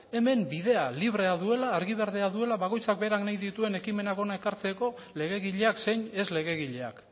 hemen bidea librea duela argi berdea duela bakoitzak berak nahi dituen ekimenak hona ekartzeko legegileak zein ez legegileak